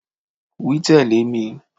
Wí tẹ̀lé mi